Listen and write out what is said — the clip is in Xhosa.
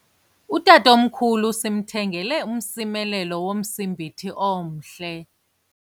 Utatomkhulu simthengele umsimelelo womsimbithi omhle.